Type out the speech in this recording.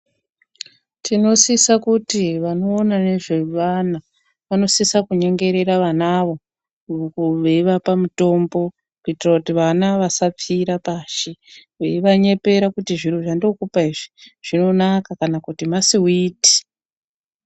Tinosisa kuti wanoona nezvevana wanosisa kunyengerera vanawo weivapa mutombo kuitira kuti vana wasapfira pashi weiwanyepera kuti zviro zvandinokupa izvi zvinonaka kana kuti masiwiti.